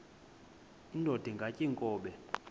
indod ingaty iinkobe